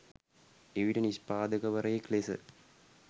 එවිට නිෂ්පාදකවරයෙක් ලෙස